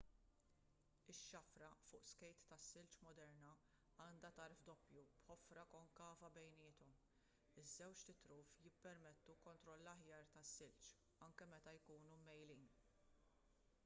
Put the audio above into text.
ix-xafra fuq skejt tas-silġ moderna għandha tarf doppju b'ħofra konkava bejniethom iż-żewġt itruf jippermettu kontroll aħjar tas-silġ anke meta jkunu mmejjlin